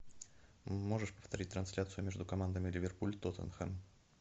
можешь повторить трансляцию между командами ливерпуль тоттенхэм